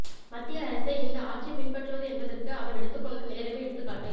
மத்திய அரசை இந்த ஆட்சி பின்பற்றுவது என்பதற்கு அவர் எடுத்துக் கொண்ட நேரமே எடுத்துக் காட்டு